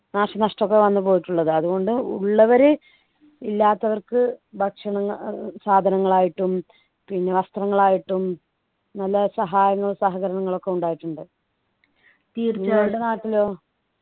നാശനഷ്ടം ഒക്കെ വന്നു പോയിട്ടുള്ളത് അതുകൊണ്ട് ഉള്ളവരെ ഇല്ലാത്തവർക്ക് ഭക്ഷണ ഏർ സാധനങ്ങൾ ആയിട്ടും പിന്നെ വസ്ത്രങ്ങൾ ആയിട്ടും നല്ല സഹായങ്ങളും സഹകരണങ്ങളും ഒക്കെ ഉണ്ടായിട്ടുണ്ട് നിങ്ങളുടെ നാട്ടിലോ